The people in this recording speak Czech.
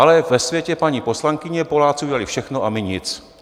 Ale ve světě paní poslankyně Poláci udělali všechno a my nic.